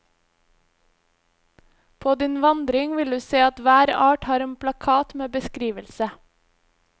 På din vandring vil du se at hver art har en plakat med beskrivelse.